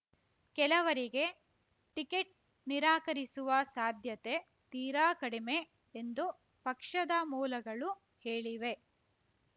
ಕೆಲವರಿಗೆ ಟಿಕೆಟ್ ನಿರಾಕರಿಸುವ ಸಾಧ್ಯತೆ ತೀರಾ ಕಡಿಮೆ ಎಂದು ಪಕ್ಷದ ಮೂಲಗಳು ಹೇಳಿವೆ